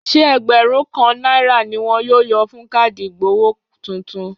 Ṣé ẹgbẹ̀rún kan náírà ni wọ́n yọ fún káàdì ìgbowó tuntun?